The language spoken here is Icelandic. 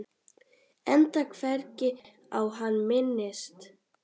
Enda hvergi á hann minnst.